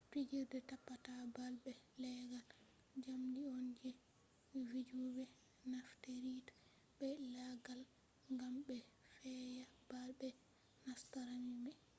fijirde tappata ball be leggal jamdi on je vijube nafteritta be laggal gam be feya ball mai nasta rami mai